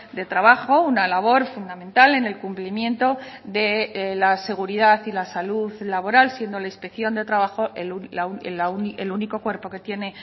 de trabajo una labor fundamental en el cumplimiento de la seguridad y la salud laboral siendo la inspección de trabajo el único cuerpo que tiene